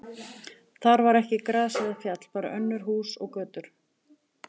Þar var ekki gras eða fjall, bara önnur hús og götur.